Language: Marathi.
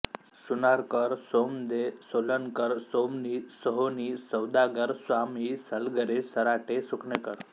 सुनारकर सोमदे सोलनकर सोवनी सोहोनी सौदागर स्वामी सलगरे सराटे सुकेनकर